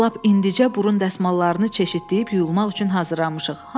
Biz lap indicə burun dəsmallarını çeşidləyib yuyulmaq üçün hazırlamışıq.